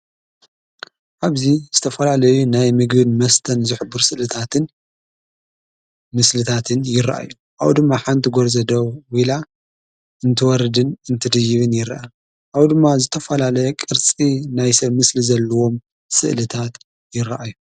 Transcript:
ኣብዚ ዝተፈላለዩ ናይ ምግዩድ መስተን ዘሕቡር ስልታትን ምስልታትን ይረአእዮ ኣው ድማ ሓንቲ ጐርዘዶ ዊኢላ እንትወርድን እንትድይብን ይርአ ኣው ድማ ዝተፈላለ ቕርፂ ናይ ሰ ምስሊ ዘለዎም ሥእልታት ይረአዮ።